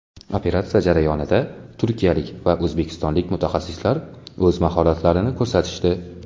Operatsiya jarayonida turkiyalik va o‘zbekistonlik mutaxassislar o‘z mahoratlarini ko‘rsatishdi.